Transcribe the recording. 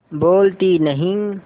बोलती नहीं